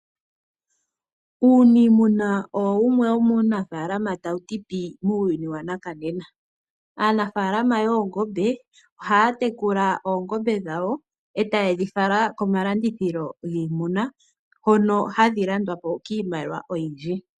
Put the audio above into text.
Uuniimuna owo wumwe womuunafaalama tawu ti pii muuyuni wanakanena. Aanafaalama yoongombe ohaya tekula oongombe dhawo e taye dhifala komalandithilo giimuna hoka hadhi landwa po kiimaliwa oyindji.